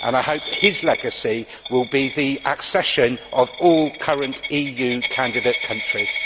I hope his legacy will be the accession of all current EU candidate countries.